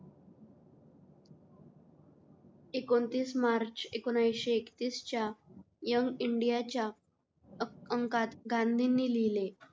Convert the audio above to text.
एकोणतीस मार्च ऐकोनऐन्शी एकतीस च्या यंग इंडिया च्या अंकात गांधींनी लिहले.